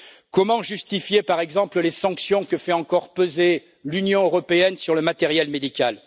Comment justifier, par exemple, les sanctions que fait encore peser l'Union européenne sur le matériel médical?